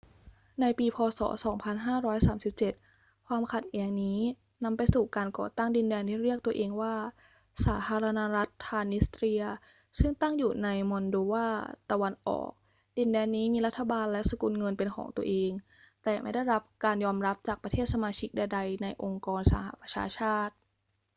ในปี พ. ศ. 2537 ความขัดแย้งนี้นำไปสู่การก่อตั้งดินแดนที่เรียกตัวเองว่าสาธารณรัฐทรานส์นิสเตรีย ซึ่งตั้งอยู่ในมอลโดวาตะวันออก ดินแดนนี้มีรัฐบาลและสกุลเงินเป็นของตนเอง แต่ไม่ได้รับการยอมรับจากประเทศสมาชิกใดๆ ในองค์กรสหประชาชาติ